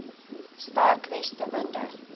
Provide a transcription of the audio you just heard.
sterk weste winde